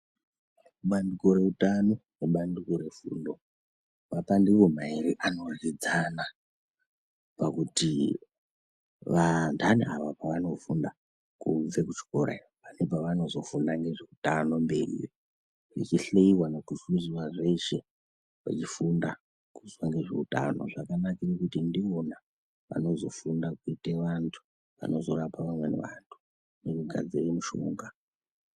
Bandiko reutano nebandiko refundo mapandiko mairi anoryidzana pakuti vandani ava pavanofunda kubve kuchikora iyo pane pavanozofunda nezveutano mberi vechihleiwa nekuhluzwa zveshe vechifunda kufunda zveutano zvakanakire kuti ndivona vanozofunda kuite vantu vanozorape vamweni vantu nekugadzire mishonga.